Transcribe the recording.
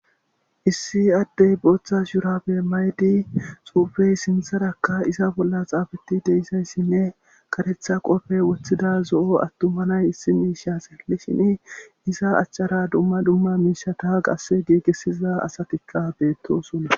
issi addey booththa shuurabe maydi xuufey sintharakka isa bolla xaafeti deyssayssinne karetha qofe woththida zo7o attumanay issi miisha seelli shini isa achchara dumma dumma miishata qasse giigessiza asatikka beettosonna